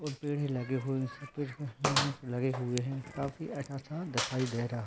पेड़ लगे हुए है लगे हुए है काफी अच्छा सा दिखाई दे रहा है।